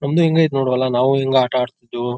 ನಮ್ದು ಇಂಗೆ ಇತ್ತು ನೋಡು ಹೊಲ ನಾವು ಇಂಗೆ ಆಟ ಆಡ್ತಿದ್ವು.